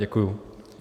Děkuji.